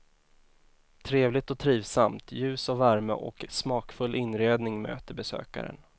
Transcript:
Trevligt och trivsamt, ljus och värme och smakfull inredning möter besökaren.